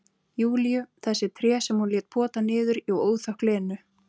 Júlíu, þessi tré sem hún lét pota niður í óþökk Lenu.